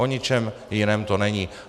O ničem jiném to není.